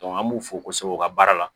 an b'u fo kosɛbɛ u ka baara la